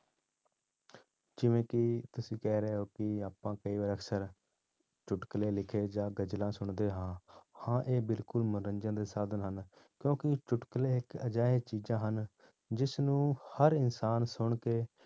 ਜਿਵੇਂ ਕਿ ਤੁਸੀਂ ਕਹਿ ਰਹੇ ਹੋ ਕਿ ਆਪਾਂ ਕਈ ਵਾਰ ਅਕਸਰ ਚੁੱਟਕਲੇ ਲਿਖੇ ਜਾਂ ਗਜ਼ਲਾਂ ਸੁਣਦੇ ਹਾਂ, ਹਾਂ ਇਹ ਬਿਲਕੁਲ ਮਨੋਰੰਜਨ ਦੇ ਸਾਧਨ ਹਨ, ਕਿਉਂਕਿ ਚੁੱਟਕਲੇ ਇੱਕ ਅਜਿਹੇ ਚੀਜ਼ਾਂ ਹਨ, ਜਿਸਨੂੰ ਹਰ ਇਨਸਾਨ ਸੁਣਕੇ